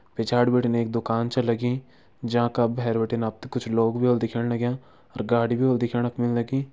पिछाड़ी भिटिन एक दुकान छैं लगीं जेँका भैर भिटिन आप्थे कुछ लोग भी हुल दिखयाण लाग्यां और गाडी भी हुल दिख्याणा लगीं।